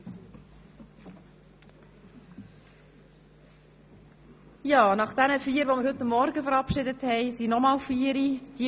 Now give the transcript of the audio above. Nach den vier Ratsmitgliedern, die wir heute Morgen verabschiedet haben, folgen vier weitere.